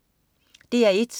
DR1: